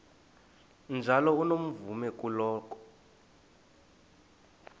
njalo unomvume kuloko